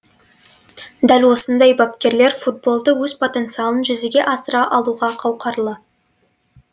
дәл осындай бапкерлер футболды өз потенциалын жүзеге асыра алуға қауқарлы